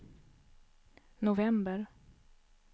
november